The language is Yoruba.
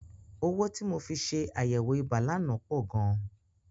Owó tí mo fi ṣe àyẹ̀wò ibà lánàá pọ̀ gan.